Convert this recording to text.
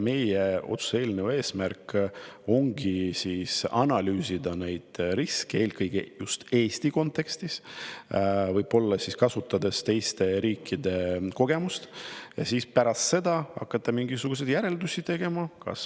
Meie otsuse eelnõu eesmärk ongi analüüsida neid riske eelkõige just Eesti kontekstis, võib-olla kasutades teiste riikide kogemust, ja siis pärast seda hakata alles mingisuguseid järeldusi tegema.